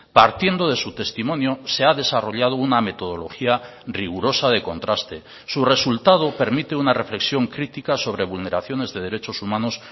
partiendo de su testimonio se ha desarrollado una metodología rigurosa de contraste su resultado permite una reflexión crítica sobre vulneraciones de derechos humanos